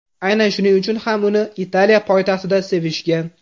Aynan shuning uchun ham uni Italiya poytaxtida sevishgan.